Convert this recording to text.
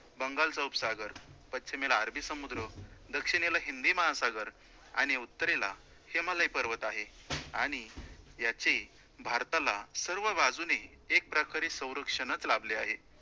बंगालचा उपसागर, पश्चिमेला अरबी समुद्र, दक्षिणेला हिंदी महासागर आणि उत्तरेला हिमालय पर्वत आहे आणि याची भारताला सर्वबाजूने एकप्रकारे संरक्षणच लाभले आहे.